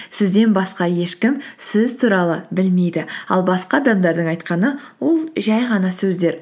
сізден басқа ешкім сіз туралы білмейді ал басқа адамдардың айтқаны ол жай ғана сөздер